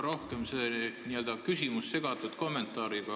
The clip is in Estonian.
Minu küsimus on võib-olla n-ö segatud kommentaariga.